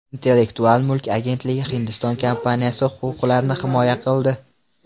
Intellektual mulk agentligi Hindiston kompaniyasi huquqlarini himoya qildi.